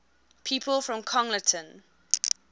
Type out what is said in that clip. people from congleton